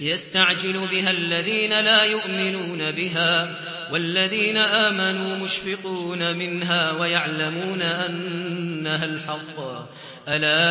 يَسْتَعْجِلُ بِهَا الَّذِينَ لَا يُؤْمِنُونَ بِهَا ۖ وَالَّذِينَ آمَنُوا مُشْفِقُونَ مِنْهَا وَيَعْلَمُونَ أَنَّهَا الْحَقُّ ۗ أَلَا